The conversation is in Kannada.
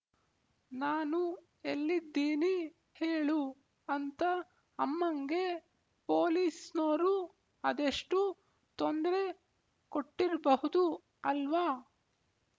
ನಾನು ಎಲ್ಲಿದ್ದೀನಿ ಹೇಳು ಅಂತ ಅಮ್ಮಂಗೆ ಪೋಲಿಸ್ನೋರು ಅದೆಷ್ಟು ತೊಂದ್ರೆ ಕೊಟ್ಟಿರ್‍ಬಹ್ದು ಅಲ್ವಾ